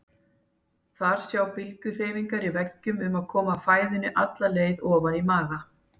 Þar sjá bylgjuhreyfingar í veggjunum um að koma fæðunni alla leið ofan í maga.